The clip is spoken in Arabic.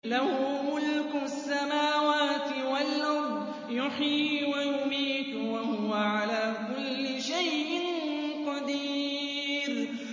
لَهُ مُلْكُ السَّمَاوَاتِ وَالْأَرْضِ ۖ يُحْيِي وَيُمِيتُ ۖ وَهُوَ عَلَىٰ كُلِّ شَيْءٍ قَدِيرٌ